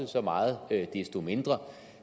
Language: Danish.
så meget desto mindre